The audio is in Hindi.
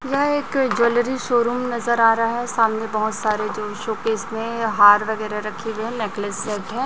यह एक ज्वेलरी शोरूम नजर आ रहा है सामने बहोत सारे जो शोकेस में हार वगैरह रखी है नेकलेस सेट है।